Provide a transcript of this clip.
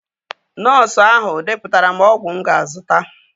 Nọọsu ahụ depụtara m ọgwụ mụ ga-azụta